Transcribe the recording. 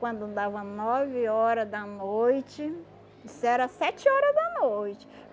Quando dava nove hora da noite, isso era sete hora da noite.